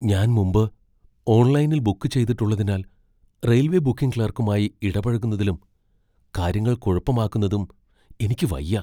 ഞാൻ മുമ്പ് ഓൺലൈനിൽ ബുക്ക് ചെയ്തിട്ടുള്ളതിനാൽ റെയിൽവേ ബുക്കിംഗ് ക്ലർക്കുമായി ഇടപഴകുന്നതിലും കാര്യങ്ങൾ കുഴപ്പമാക്കുന്നതും എനിക്ക് വയ്യ.